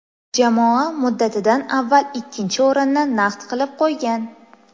Jamoa muddatidan avval ikkinchi o‘rinni naqd qilib qo‘ygan.